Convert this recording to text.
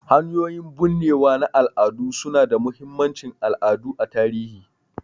Hanyoyin binnewa na al'ada su na da mahimmancin al'adu a tarihi